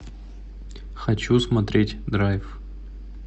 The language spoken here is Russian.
хочу смотреть драйв